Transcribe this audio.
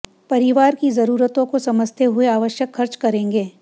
परिवार की जरूरतों को समझते हुए आवश्यक खर्च करेंगे